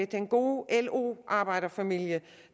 den gode lo arbejderfamilie